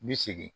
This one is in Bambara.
N bi segin